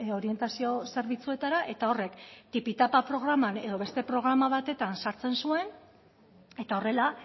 orientazio zerbitzuetara eta horrek tipitapa programan edo beste programa batean sartzen zuen eta horrela